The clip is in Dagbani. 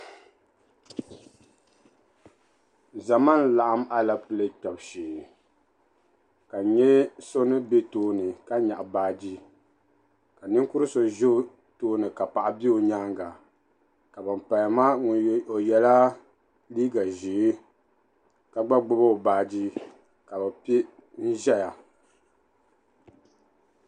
Zama n laɣim alepile kpebu shee. ka n nyɛ doni bɛ tooni ka nyɛɣi baaji. ka ninkurisɔ ʒɛ ʒɛ tooni ka paɣa be ɔ nyaaŋa. ka ban kpalim maa , ka ɔ ye la liiga ʒɛɛ ka gba gbubi ɔ baaji n ʒɛya.